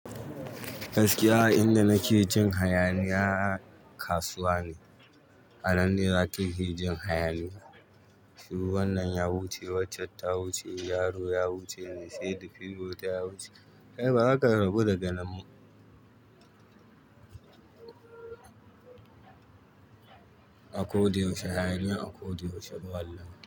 Gaskiya inda nake jin hayaniya kasuwa ne. A nan ne zaki ji jin hayaniya. Shuru wannan ya wuce, waccan ta wuce, yaro ya wuce mai saidi fiyo wota ya wuce. Kai ba za ka rabu da ganin ba. A koda yaushe hayaniya a koda yaushe bawalan.